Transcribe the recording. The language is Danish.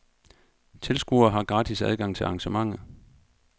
Tilskuere har gratis adgang til arrangementet.